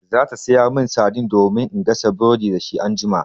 Za ta sayo min saidin domin in gasa burodi dashi anjima.